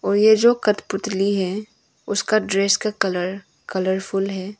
और यह जो कठपुतली है उसका ड्रेस का कलर कलरफुल है।